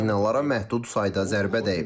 Binalara məhdud sayda zərbə dəyib.